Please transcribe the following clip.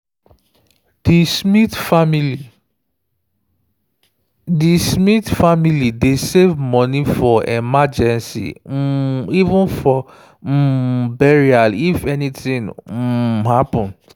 di smith family dey save money for emergency um even for um burial if anything um happen.